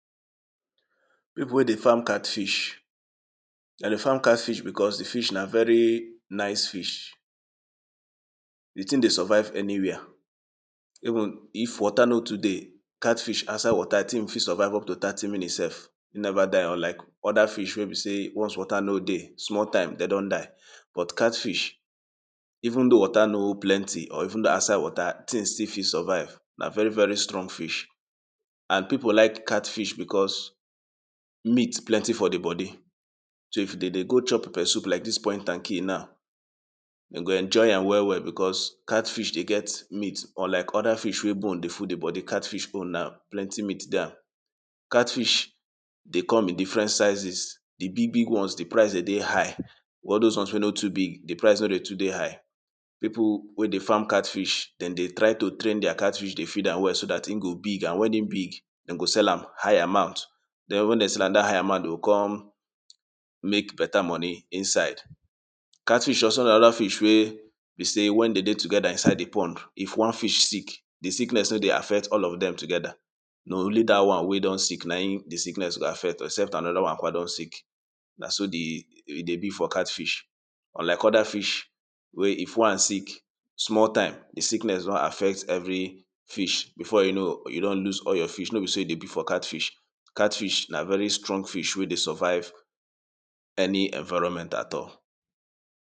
People wey dey farm catfish dem dey farm catfish because di fish na very nice fish di thing dey survive anywia even if water no too dey catfish outside water di thing fit survive up to thirty minutes sef, e never die unlike other fish wey be sey once water no dey, small time den don die but catfish even though water no plenti or even though outside water, di thing still fit survive na very very strong fish and people like catfish because meat plenty for di body so if dem dey go chop peppersoup like dis point and kill now dem go enjoy am well well because catfish dey get meat unlike other fish wey bone dey full di body catfish own na plenty meat dey am Catfish dey come in different sizes, di big big ones, di price dey dey high all dose ones wey no too big, the price no dey too dey high People wey dey farm catfish, dem dey try to train their catfish dey feed am well so dat hin go big and when e big dem go sell am high amount, then when dem sell am dat high amount, dem go con mek better money inside. Catfish also na another fish wey be sey when dem dey together inside di pond, if one fish sick di sickness no dey affect all of dem together na only that one wey don sick na im di sickness affect except anoda one don sick na so e dey be for catfish, unlike other fish wey if one sick small time, di sickness don affect every fish, before you know, you don lose all your fish. no be so e dey be for catfish. catfish na very strong fish wey dey survive any environment at all.